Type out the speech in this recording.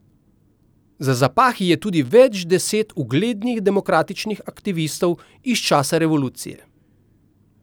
Za zapahi je tudi več deset uglednih demokratičnih aktivistov iz časa revolucije.